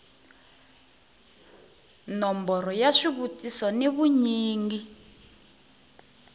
nomboro ya xivutiso ni vunyingi